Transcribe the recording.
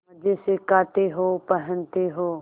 मजे से खाते हो पहनते हो